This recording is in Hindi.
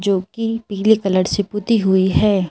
जो कि पीले कलर से पुती हुई है।